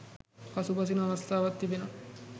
පසුබසින අවස්ථාවන් තිබෙනවා